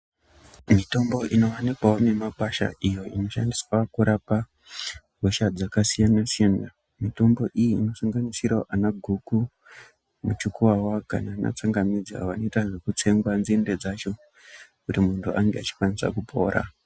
Mitombo ino wanikwawo mikwasha iyo inoshandiswa kurapa hosha dzaka siyana siyana mitombo iyi inosanganisira ana goko muchukuwawa kana ana tsangamidzi awo anoita zveku tsengwa nzinde dzacho kuti muntu ange achi kwanisa kupora.